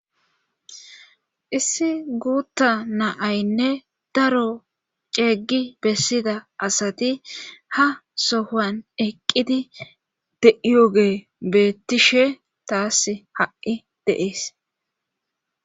issi guutta na'aynne daro ceeggi bessida asati ha sohan eqqidi de7iyoge beettishe taass ha7i de'ees